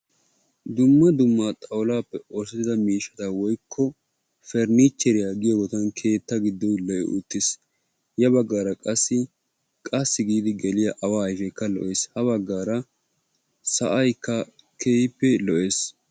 Dumma dumma xawulaappe oosettida miishshata woykko furniicherriya giyooge hagaa keettaa giddon lo''i uttiis, ya bagaara qassi qassi giidi gelliya awa ayfeekka lo'ees, bagaara sa'aykka keehippe lo'ees.